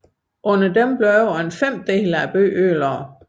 Under dem blev over en femtedel af byen ødelagt